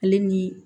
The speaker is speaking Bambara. Ale ni